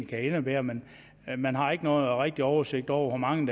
kan indebære men man har ikke nogen rigtig oversigt over hvor mange